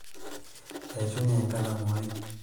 eishunye enkalamu ai